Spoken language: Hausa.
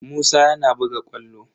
Musa yana buga ƙwallo.